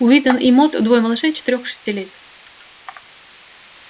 уидон и мод двое малышей четырёх и шести лет